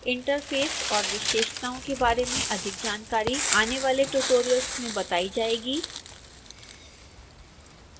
interface और विशेषताओं के बारे में अधिक जानकारी आने वाले ट्यूटोरियल्स में बताई जाएगी